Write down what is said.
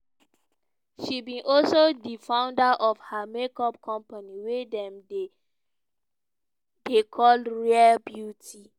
she be also di founder of her make up company wey dem dem dey call rare beauty.